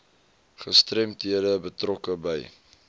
gestremdhede betrokke by